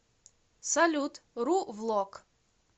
салют ру влог